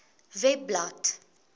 webblad